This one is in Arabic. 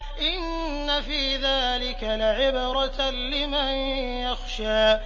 إِنَّ فِي ذَٰلِكَ لَعِبْرَةً لِّمَن يَخْشَىٰ